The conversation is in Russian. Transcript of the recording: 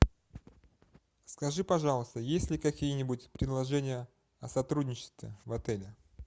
скажи пожалуйста есть ли какие нибудь предложения о сотрудничестве в отеле